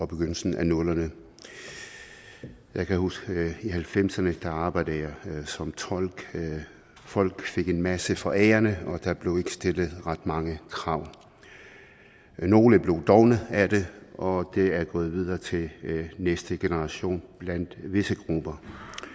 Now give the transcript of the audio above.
begyndelsen af nullerne jeg kan huske at i halvfemserne arbejdede som tolk folk fik en masse forærende og der blev ikke stillet ret mange krav nogle blev dovne af det og det er gået videre til næste generation blandt visse grupper